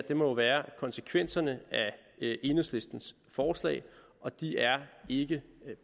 jo være konsekvenserne af enhedslistens forslag og de er ikke